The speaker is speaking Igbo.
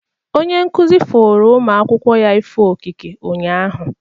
Onye nkụzi foro ụmụ akwụkwọ ya ifo okike unyaahụ.